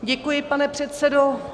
Děkuji, pane předsedo.